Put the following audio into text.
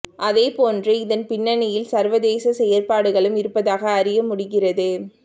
அதேபோன்று இதன் பின்னணியில் சர்வதேச செயற்பாடுகளும் இருப்பதாக அறிய முடிகிறது